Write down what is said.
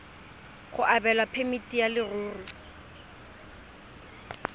go abelwa phemiti ya leruri